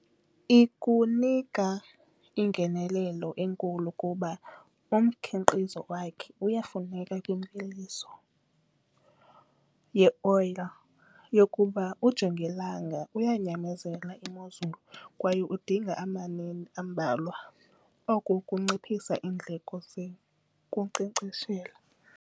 Ikunika ingenelelo enkulu kuba umkhiqizo wakhe uyafuneka kwimveliso yeoyile yokuba ujongilanga uyanyamezela imozulu kwaye udinga ambalwa. Oku kunciphisa iindleko zokunkcenkceshela.